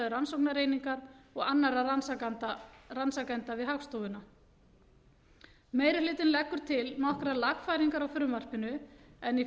sjálfstæðu rannsóknareiningar og annarra rannsakenda við hagstofuna meiri hlutinn leggur til nokkrar lagfæringar á frumvarpinu en í